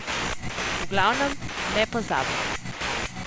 V glavnem, nepozabno!